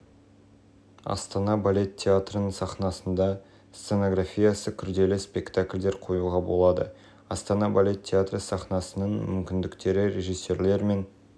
метр көрермен залында орын бар сахнаның ауданы шаршы метр сахна төрт көтеріп-түсіру планшеті мен төрт